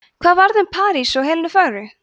hvað varð um parís og helenu fögru